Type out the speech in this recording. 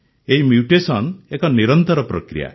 ଏହି ମ୍ୟୁଟେସନ ଏକ ନିରନ୍ତର ପ୍ରକ୍ରିୟା